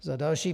Za další.